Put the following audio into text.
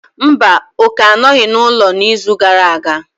Mba, Oke anọghị n'ụlọ n'izu gara aga.